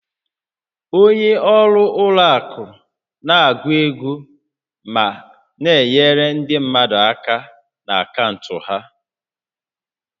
Onye ọrụ ụlọ akụ na-agụ ego ma na-enyere ndị mmadụ aka na akaụntụ ha